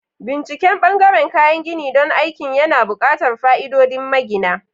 Binciken ɓangaren kayan gini don aikin yana buƙatar fa'idodin magina.